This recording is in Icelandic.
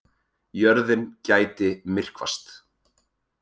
Jörðin gæti myrkvast